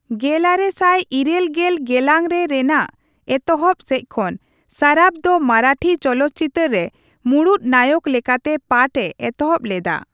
ᱜᱮᱞᱟᱨᱮ ᱥᱟᱭ ᱤᱨᱟᱹᱞ ᱜᱮᱞ ᱜᱮᱞᱟᱝ ᱨᱮ ᱨᱮᱱᱟᱜ ᱮᱛᱚᱦᱚᱵ ᱥᱮᱡ ᱠᱷᱚᱱ, ᱥᱟᱨᱟᱯᱷ ᱫᱚ ᱢᱟᱨᱟᱴᱷᱤ ᱪᱚᱞᱚᱛ ᱪᱤᱛᱟᱹᱨ ᱨᱮ ᱢᱩᱲᱩᱫ ᱱᱟᱭᱚᱠ ᱞᱮᱠᱟᱛᱮ ᱯᱟᱴᱷ ᱮ ᱮᱛᱚᱦᱚᱵ ᱞᱮᱫᱟ ᱾